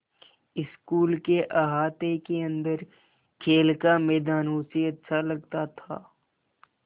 school के अहाते के अन्दर खेल का मैदान उसे अच्छा लगता था